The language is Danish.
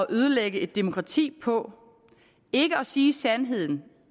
ødelægge et demokrati på ikke at sige sandheden